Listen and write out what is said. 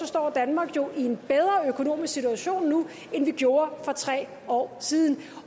står danmark jo i en bedre økonomisk situation nu end vi gjorde for tre år siden